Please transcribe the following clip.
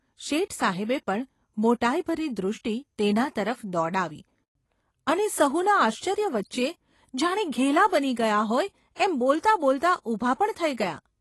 શેઠસાહેબે પણ મોટાઈભરી દૃષ્ટિ તેના તરફ દોડાવી અને સહુને આશ્ચર્ય વચ્ચે જાણે ઘેલા બની ગયા હોય એમ બોલતાં બોલતાં ઊભા પણ થઈ ગયા !